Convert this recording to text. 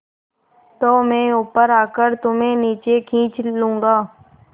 तो मैं ऊपर आकर तुम्हें नीचे खींच लूँगा